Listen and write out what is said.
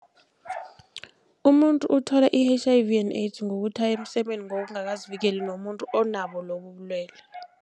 Umuntu uthola i-H_I_V and AIDS ngokuthi aye emsemeni ngokungakazivikeli nomuntu onabo lobu ubulwele.